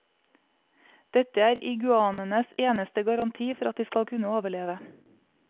Dette er iguanaenes eneste garanti for at de skal kunne overleve.